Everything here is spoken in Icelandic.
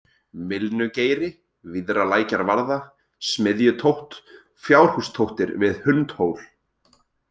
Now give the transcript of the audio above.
Mylnugeiri, Víðralækjarvarða, Smiðjutótt, Fjárhústóttir við Hundhól